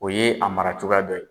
O ye a mara cogoya dɔ ye.